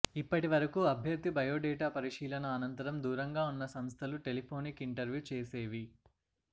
ఇప్పటివరకు అభ్యర్థి బయోడేటా పరిశీలన అనంతరం దూరంగా ఉన్న సంస్థలు టెలిఫోనిక్ ఇంటర్వ్యూ చేసేవి